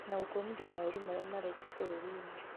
na gũkũmithia maũru maria marekwo bũrũrinĩ